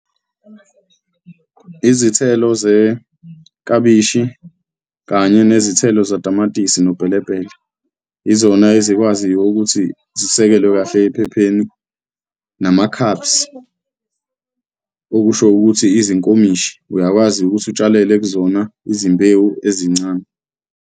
Izithelo zeklabishi kanye nezithelo zatamatisi nopelepele izona ezikwaziyo ukuthi zisekelwe kahle ephepheni nama-cups, okusho ukuthi izinkomishi, uyakwazi ukuthi utshalele kuzona izimbewu ezincane.